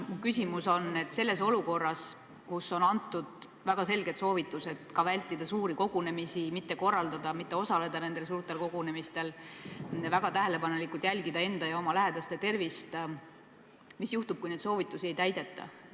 Mu küsimus on, et olukorras, kus on antud väga selged soovitused vältida suuri kogunemisi, neid mitte korraldada ja neil mitte osaleda ning jälgida väga tähelepanelikult enda ja oma lähedaste tervist, mis juhtub, kui neid soovitusi ei täideta.